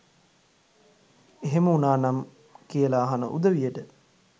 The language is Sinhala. එහෙම උනානම් කියලා අහන උදවියට